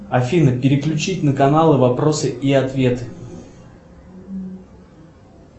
афина переключить на канал вопросы и ответы